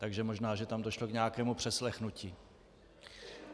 Takže možná že tam došlo k nějakému přeslechnutí.